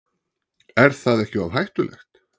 Er það ekki of hættulegt?